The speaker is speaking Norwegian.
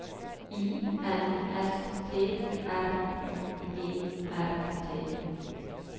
I N S T R U E R T